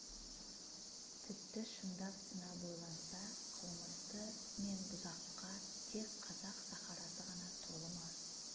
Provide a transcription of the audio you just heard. тіпті шындап сынап ойланса қылмысты мен бұзыққа тек қазақ сахарасы ғана толы ма